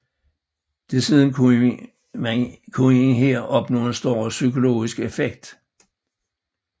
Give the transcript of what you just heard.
Desuden kunne man her opnå en større psykologisk effekt